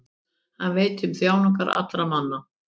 Hann veit um þjáningar allra manna.